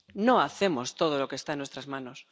No hacemos todo lo que está en nuestras manos.